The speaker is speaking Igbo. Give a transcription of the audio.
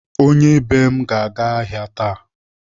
Onye be m ga-aga ahịa taa.